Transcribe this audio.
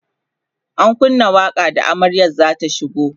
an kunna waƙa da amaryar zata shigo